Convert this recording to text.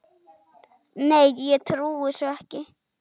Nei, ég trúi þessu ekki.